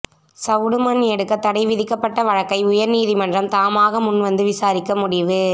சவுடு மண் எடுக்க தடை விதிக்கப்பட்ட வழக்கை உயா்நீதிமன்றம் தாமாக முன்வந்து விசாரிக்க முடிவு